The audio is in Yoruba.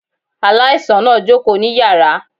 Aláìsàn náà jókòó ní yàrá